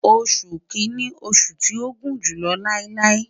Oṣu Kini oṣu ti o gun julọ lailai